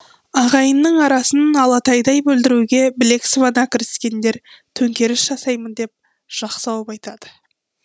ағайынның арасын алатайдай бүлдіруге білек сыбана кіріскендер төңкеріс жасаймын деп жақ сауып айтады